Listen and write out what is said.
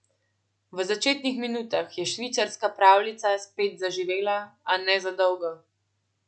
V začetnih minutah je švicarska pravljica spet zaživela, a ne za dolgo.